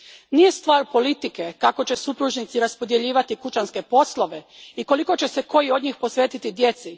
Nije stvar politike kako će supružnici raspodjeljivati kućanske poslove i koliko će se koji od njih posvetiti djeci.